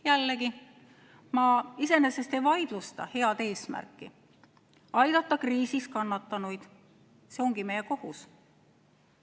Jällegi, ma iseenesest ei vaidlusta head eesmärki aidata kriisis kannatanuid – see ongi meie kohus.